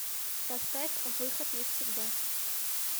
поставь выход есть всегда